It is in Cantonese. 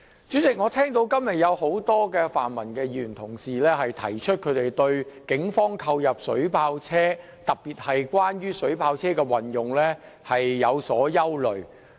主席，我今天聽到多位泛民議員表達對於警方購入水炮車的憂慮，特別是對水炮車如何運用感到擔憂。